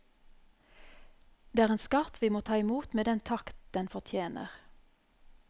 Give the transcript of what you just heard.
Det er en skatt vi må ta imot med den takk den fortjener.